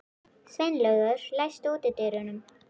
Sveinlaugur, læstu útidyrunum.